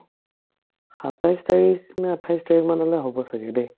সাতাইছ তাৰিখনে আঠাইছ তাৰিখ মানলে হ'ব ছাগে দেই